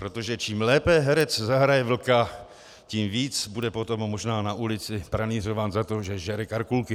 Protože čím lépe herec zahraje vlka, tím víc bude potom možná na ulici pranýřován za to, že žere Karkulky.